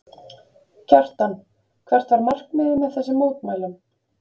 Kjartan, hvert var markmiðið með þessum mótmælum?